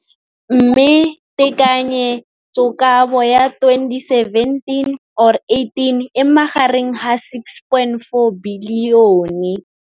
Mme tekanyetsokabo ya 2017 or 18 e magareng ga 6.4 bilione.